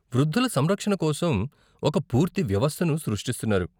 వృద్ధుల సంరక్షణ కోసం ఒక పూర్తి వ్యవస్థను సృష్టిస్తున్నారు.